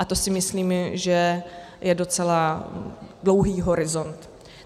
A to si myslím, že je docela dlouhý horizont.